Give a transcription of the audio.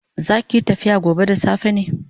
Zakiyi tafiya gobe da safe ne?